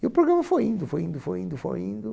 E o programa foi indo, foi indo, foi indo, foi indo.